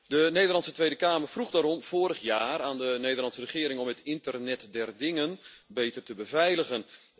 De Nederlandse Tweede Kamer vroeg daarom vorig jaar aan de Nederlandse regering om het internet der dingen beter te beveiligen.